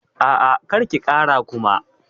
A'a, kar ki kara Kuma.